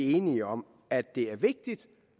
er enige om at det er vigtigt